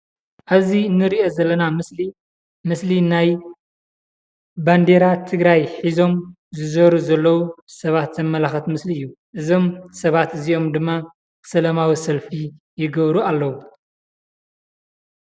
እዚ ንሪኦ ዘለና ምስሊ ምስሊ ናይ ባንዲራ ትግራይ ሒዞም ዝዞሩ ዘለዉ ሰባት ዘመላኽት ምስሊ እዩ፡፡ እዞም ሰባት እዚኦም ድማ ሰላማዊ ሰልፊ ይገብሩ ኣለዉ፡፡